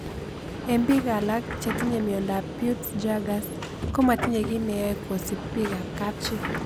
Eng' pik alak che tinye miondop Peutz Jaghers ko matinye kiy ne yae kosp pik ab kapchi